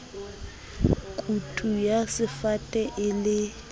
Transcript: kutu ya sefate e le